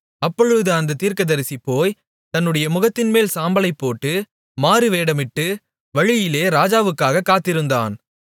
அப்பொழுது அந்தத் தீர்க்கதரிசி போய் தன்னுடைய முகத்தின்மேல் சாம்பலைப் போட்டு மாறுவேடமிட்டு வழியிலே ராஜாவுக்காகக் காத்திருந்தான்